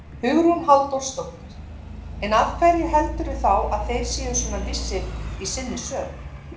Hugrún Halldórsdóttir: En af hverju heldurðu þá að þeir séu svona vissir í sinni sök?